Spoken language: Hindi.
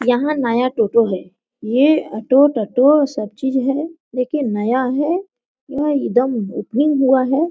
यहाँ नया टोटो है यह ओटो टोटो सभ चीज है देखिए नया है यहाँ एकदम ओपनिंग हुआ है।